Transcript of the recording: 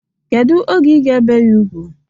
Kedu oge ị ga ebe ya ugwu?